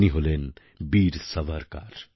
তিনি হলেন বীর সাভারকর